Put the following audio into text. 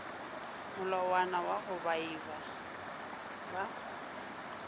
molawana wa go baabi ba